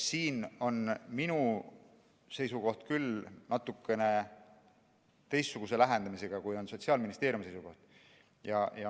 Siin on minu seisukoht küll natukene teistsugune, kui on Sotsiaalministeeriumi seisukoht.